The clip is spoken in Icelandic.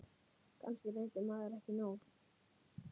Kannski reyndi maður ekki nóg.